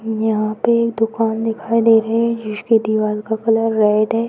यहाँ पे एक दुकान दिखाई दे रही है। जिसके दिवाल का कलर रेड है।